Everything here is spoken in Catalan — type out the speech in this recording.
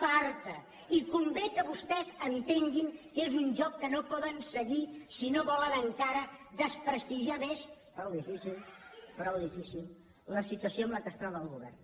farta i convé que vostès entenguin que és un joc que no poden seguir si no volen encara desprestigiar més prou difícil prou difícil la situació en què es troba el govern